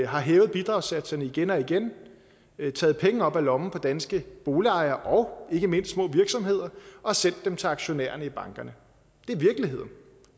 har hævet bidragssatserne igen og igen taget penge op af lommen på danske boligejere og ikke mindst små virksomheder og sendt dem til aktionærerne i bankerne det er virkeligheden